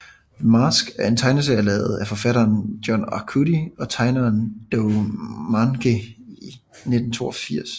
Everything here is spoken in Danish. The Mask er en tegneserie lavet af forfatteren John Arcudi og tegneren Dough Mahnke i 1982